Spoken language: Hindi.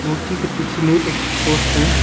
मूर्ति के पीछे में एक पोर्स पोल है।